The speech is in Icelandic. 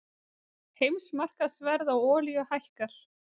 Heimsmarkaðsverð á olíu hækkar